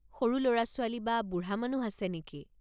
সৰু ল'ৰা-ছোৱালী বা বুঢ়া মানুহ আছে নেকি?